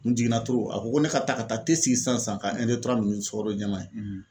N jiginna a ko ko ne ka taa ka taa sigi sisan ka min ni sukoro jɛman ye.